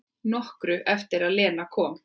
Nokkru eftir að Lena kom.